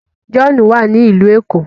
John wá ní ilú ẹko.